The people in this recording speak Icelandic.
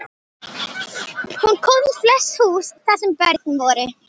Hún kom í flest hús þar sem börn voru.